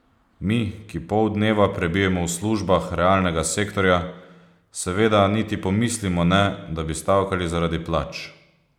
Mi, ki pol dneva prebijemo v službah realnega sektorja, seveda niti pomislimo ne, da bi stavkali zaradi plač.